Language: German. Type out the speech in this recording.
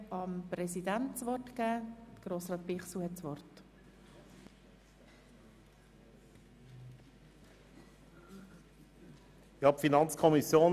2019 / AFP 2020–2022 Ersatzmassnahmen zu beschliessen bzw. dem Grossen Rat – soweit sie in dessen Kompetenz fallen – zu beantragen.